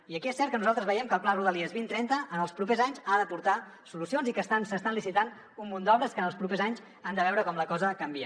i aquí és cert que nosaltres veiem que el pla de rodalies vint trenta en els propers anys ha d’aportar solucions i que s’estan licitant un munt d’obres que en els propers anys han de veure com la cosa canvia